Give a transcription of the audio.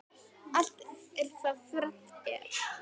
Allt er þá þrennt er.